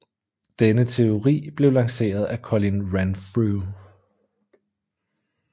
Denne teori blev lanceret af Colin Renfrew